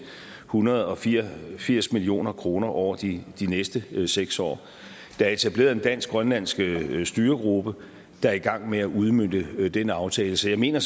hundrede og firs firs million kroner over de næste seks år der er etableret en dansk grønlandsk styregruppe der er i gang med at udmønte den aftale så jeg mener